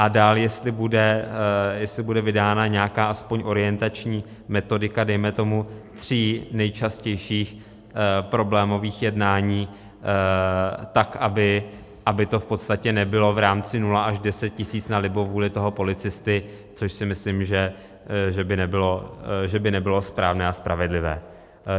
A dál, jestli bude vydána nějaká alespoň orientační metodika dejme tomu tří nejčastějších problémových jednání, tak aby to v podstatě nebylo v rámci 0 až 10 tisíc na libovůli toho policisty, což si myslím, že by nebylo správné a spravedlivé.